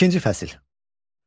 İkinci fəsil.